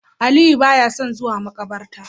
Aliyu baya son zuwa makabarta